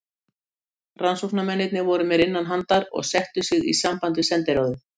Rannsóknarmennirnir voru mér innanhandar og settu sig í samband við sendiráðið.